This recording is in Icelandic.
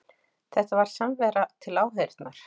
Þetta var samvera til áheyrnar